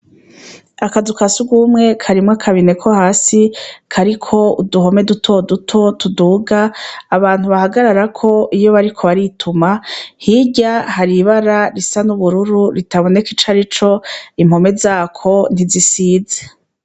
Akazu ka sugumwe karimwo akabine ko hasi kariko uduhome dutoduto tuduga abantu bahagararako iyo bariko barituma, hirya hari ibara risa n'ubururu ritaboneka ico arico. Impome zako, ntizisize.